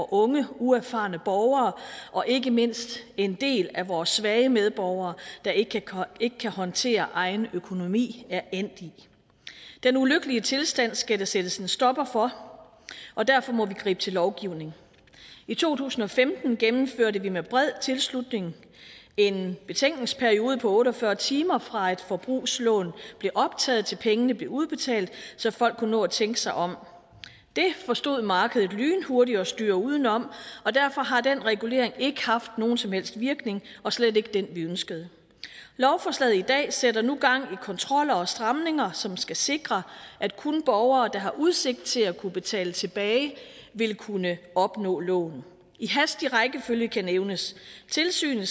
unge uerfarne borgere og ikke mindst en del af vore svage medborgere der ikke kan håndtere egen økonomi er endt i den ulykkelige tilstand skal der sættes en stopper for og derfor må vi gribe til lovgivning i to tusind og femten gennemførte vi med bred tilslutning end betænkningsperiode på otte og fyrre timer fra et forbrugslån bliver optaget til pengene bliver udbetalt så folk kunne nå at tænke sig om det forstod markedet lynhurtigt at styre udenom og derfor har den regulering ikke haft nogen som helst virkning og slet ikke den vi ønskede lovforslaget i dag sætter nu gang i kontroller og stramninger som skal sikre at kun borgere der har udsigt til at kunne betale tilbage vil kunne opnå lån i hastig rækkefølge kan nævnes tilsynet